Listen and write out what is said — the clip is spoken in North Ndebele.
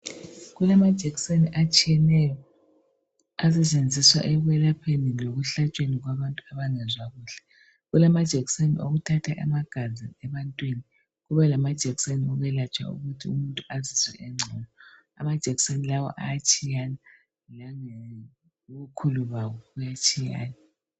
Kulamajekiseni atshiyeneyo asetshenziswa ekwelapheni lokuhlatshweni kwabantu abangezwa kuhle. Kulama jekiseni okuthatha amagazi ebantwini, kube lamajekiseni okwelatshwa ukuthi umuntu azizwe engcono. Amajekiseni lawa ayatshiyana, langobukhulu bawo ayatshiyana.